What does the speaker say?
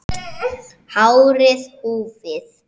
Hárið úfið.